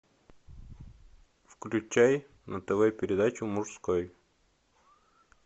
включай на тв передачу мужской